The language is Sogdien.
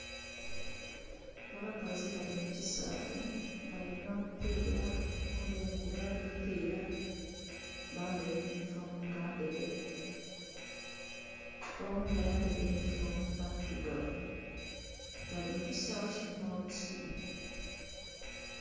Abakazi bali mu ki saawe bali n'omupiira oghundhi ayemeleire aghali omupiira, bambeire e yunhifomu nga ndheru, oghundhi ayambeire eyunhifomu nga ndhirugavu, bali mu ki saawe mulimu obusubi.